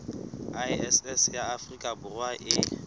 iss ya afrika borwa e